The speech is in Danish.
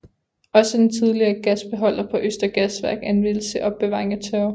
Også den tidligere gasbeholder på Østre Gasværk anvendes til opbevaring af tørv